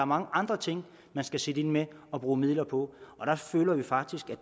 mange andre ting man skal sætte ind med og bruge midler på og der føler vi faktisk at